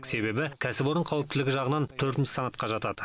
себебі кәсіпорын қауіптілігі жағынан төртінші санатқа жатады